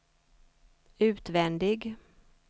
utvändig